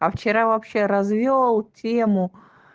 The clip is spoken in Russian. а вчера вообще развёл тему